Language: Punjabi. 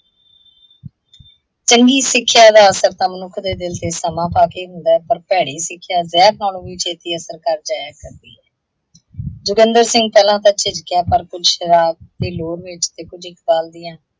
ਚੰਗੀ ਸਿੱਖਿਆ ਦਾ ਅਸਰ ਤਾਂ ਮਨੁੱਖ ਦੇ ਦਿੱਲ ਤੇ ਸਮਾਂ ਪਾਕੇ ਹੁੰਦਾ ਹੈ ਪਰ ਭੈੜੀ ਸਿੱਖਿਆ ਜ਼ਹਿਰ ਨਾਲੋਂ ਵੀ ਛੇੱਤੀ ਅਸਰ ਕਰ ਜਾਇਆ ਕਰਦੀ ਹੈ। ਜਤਿੰਦਰ ਸਿੰਘ ਪਹਿਲਾਂ ਤਾਂ ਝਿੱਜਕਿਆ ਪਰ ਕੁੱਝ ਸ਼ਰਾਬ ਦੀ ਲੋਰ ਵਿੱਚ ਤੇ ਕੁੱਝ ਇਕਬਾਲ ਦੀਆਂ